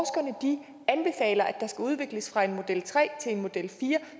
der skal udvikles fra en model tre til en model fire